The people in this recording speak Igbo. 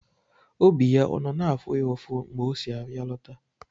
Obi ya ọ nọ na-afụ ya ụfụ mgbe o si ahịa lọta?